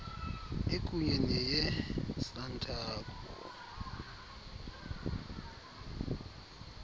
ikunye neye santaco